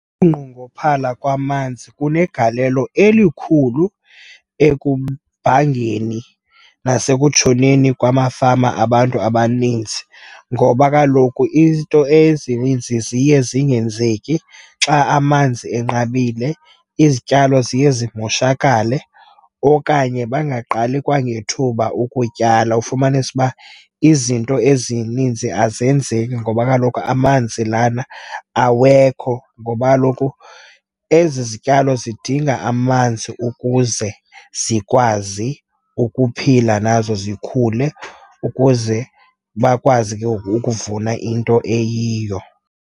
Ukunqongophala kwamanzi kunegalelo elikhulu ekubhangeni nasekutshoneni kwamafama abantu abaninzi, ngoba kaloku into ezininzi ziye zingenzeki xa amanzi enqabile. Izityalo ziye zimoshakale, okanye bangaqali kwangethuba ukutyala. Ufumanise uba izinto ezininzi azenzeki, ngoba kaloku amanzi lana awekho, ngoba kaloku ezi zityalo zidinga amanzi ukuze zikwazi ukuphila nazo zikhule, ukuze bakwazi ke ngoku ukuvuna into eyiyo.